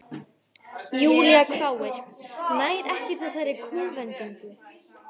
Júlía hváir, nær ekki þessari kúvendingu.